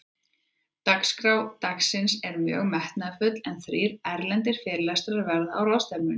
Dagskrá dagsins er mjög metnaðarfull, en þrír erlendir fyrirlesarar verða á ráðstefnunni.